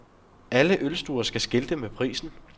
Alle ølstuer skal skilte med prisen.